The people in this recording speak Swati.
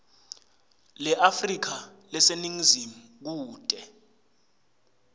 leafrika leseningizimu kute